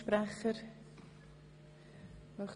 – Das ist nicht der Fall.